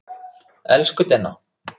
Elsku Denna.